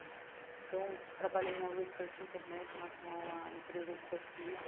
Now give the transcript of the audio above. Então, trabalhei na Research International, que é uma empresa de pesquisa.